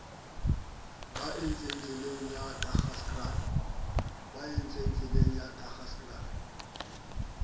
ba antseng tsweleng la daggakraal